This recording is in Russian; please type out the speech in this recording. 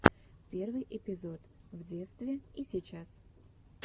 первый эпизод в детстве и сейчас